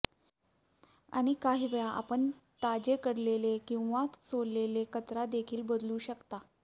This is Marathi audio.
आणि काहीवेळा आपण ताजेकडलेले किंवा सोललेले कचरा देखील बदलू शकता